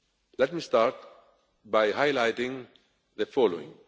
Let me start by highlighting the following.